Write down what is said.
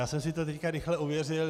Já jsem si to teď rychle ověřil.